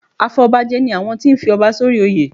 Afọbajẹ ni àwọn tí ń fi ọba sórí oyè.